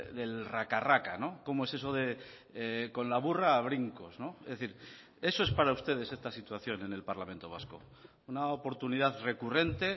del raca raca cómo es eso de con la burra a brincos es decir eso es para ustedes esta situación en el parlamento vasco una oportunidad recurrente